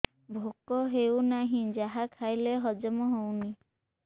ଭୋକ ହେଉନାହିଁ ଯାହା ଖାଇଲେ ହଜମ ହଉନି